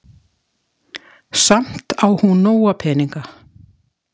Samt á hún nóga peninga.